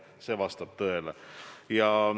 See vastab tõele.